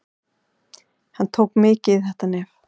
Hann tók mikið í þetta nef.